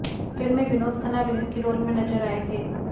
film में Vinod Khanna villain के role में नजर आये थे